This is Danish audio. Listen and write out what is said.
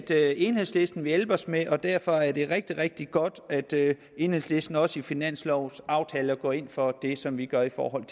jeg enhedslisten vil hjælpe os med og derfor er det rigtig rigtig godt at enhedslisten også i finanslovaftaler går ind for det som vi gør i forhold